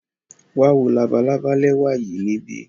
Wa wo labalaba lẹwa yii nibi.